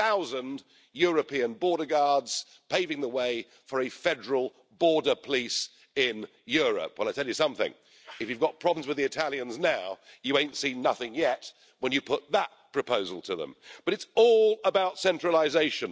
Punitive aussi à l'égard des Britanniques, à qui vous voulez faire payer le prix de la liberté, en refusant le moindre accord commercial alors qu'on accorde à des pays qui ne sont pas dans l'Union européenne, comme la Norvège ou l'Islande, l'accès au marché unique.